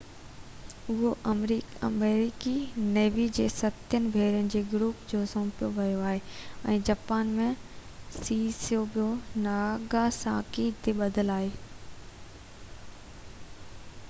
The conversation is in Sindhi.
اهو آمريڪي نيوي جي ستين ٻيڙين جي گروپ کي سونپيو ويو آهي ۽ جاپان ۾ سيسيبو ناگاساڪي تي ٻڌل آهي